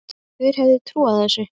Hver hefði trúað þessu!